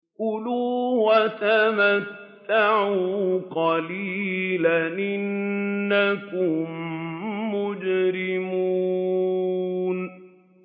كُلُوا وَتَمَتَّعُوا قَلِيلًا إِنَّكُم مُّجْرِمُونَ